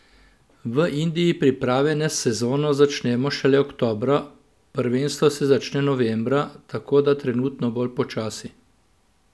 V Indiji priprave na sezono začnemo šele oktobra, prvenstvo se začne novembra, tako da trenutno bolj počasi.